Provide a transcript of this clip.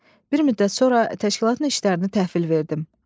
Bir müddət sonra təşkilatın işlərini təhvil verdim.